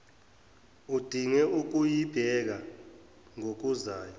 udinge ukuyibheka ngokuzayo